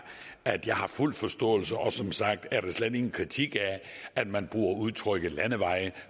at jeg har fuld forståelse for og som sagt er det slet ingen kritik at man bruger udtrykket landeveje